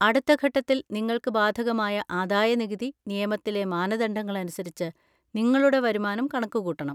അടുത്ത ഘട്ടത്തിൽ നിങ്ങൾക്ക് ബാധകമായ ആദായനികുതി നിയമത്തിലെ മാനദണ്ഡങ്ങൾ അനുസരിച്ച് നിങ്ങളുടെ വരുമാനം കണക്കുകൂട്ടണം.